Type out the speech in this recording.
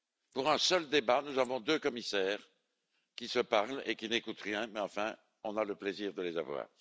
Pour un seul débat, nous avons deux commissaires qui se parlent et qui n'écoutent rien, mais enfin on a le plaisir de les avoir.